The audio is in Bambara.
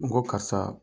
N ko karisa